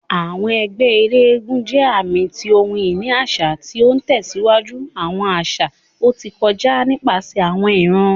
Awọn ẹgbẹ elégúnjẹ aami ti ohun-ini aṣa, ti o tẹsiwaju awọn aṣa ti o ti kọja nipasẹ awọn iran.